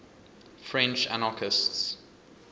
french anarchists